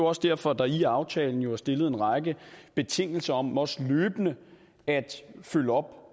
også derfor der i aftalen jo er stillet en række betingelser om også løbende at følge op